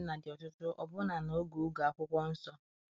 ụmụ na enweghi nna di ọtụtụ ọbụ na na oge oge akwụkwọ nsọ